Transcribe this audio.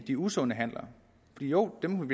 de usunde handler jo dem